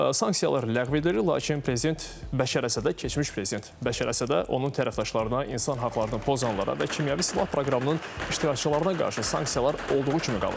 Sanksiyalar ləğv edilir, lakin prezident Bəşər Əsədə keçmiş prezident Bəşər Əsədə onun tərəfdaşlarına, insan haqlarını pozanlara və kimyəvi silah proqramının iştirakçılarına qarşı sanksiyalar olduğu kimi qalır.